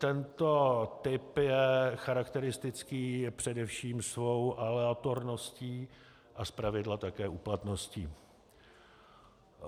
Tento typ je charakteristický především svou aleatorností a zpravidla také úplatností.